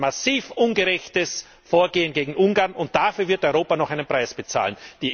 Das ist ein massiv ungerechtes Vorgehen gegen Ungarn, und dafür wird Europa noch einen Preis bezahlen.